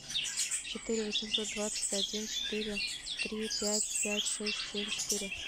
четыре восемьсот двадцать один четыре три пять пять шесть семь четыре